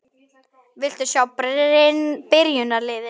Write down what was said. Viltu sjá byrjunarliðin?